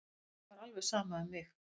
Fólkinu er alveg sama um mig!